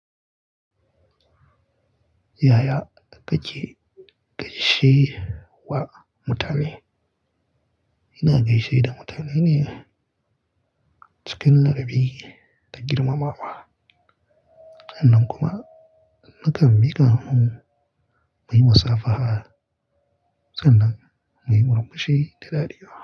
Yaya ka ke gaishe wa mutane? Ina gaishe da mutane ne cikin ladabi da girmamawa, hannun kuma na kan miƙa hunu, muyi musafaha sannan muyi murmushi da dariya.